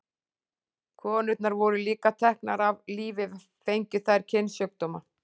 Konurnar voru líka teknar af lífi fengju þær kynsjúkdóma.